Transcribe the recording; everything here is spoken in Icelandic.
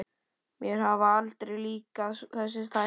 Mér hafa aldrei líkað þessir þættir.